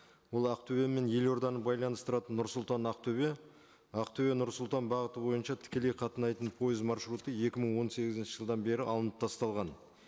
ол ақтөбе мен елорданы байланыстыратын нұр сұлтан ақтөбе ақтөбе нұр сұлтан бағыты бойынша тікелей қатынайтын пойыз маршруты екі мың он сегізінші жылдан бері алынып тасталған